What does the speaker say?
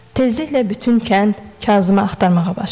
Tezliklə bütün kənd Kazımı axtarmağa başladı.